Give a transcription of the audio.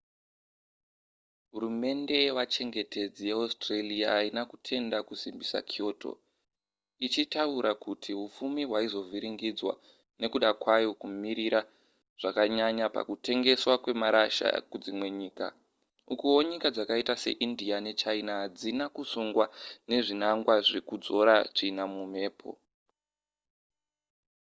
hurumende yevachengetedzi yeaustralia haina kutenda kusimbisa kyoto ichitaura kuti hupfumi hwaizovhiringidzwa nekuda kwayo kumirira zvakanyanya pakutengeswa kwemarasha kudzimwe nyika ukuwo nyika dzakaita seindia nechina hadzina kusungwa nezvinangwa zvekudzora tsvina mumhepo